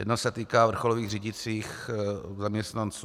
Jednak se týká vrcholových řídících zaměstnanců.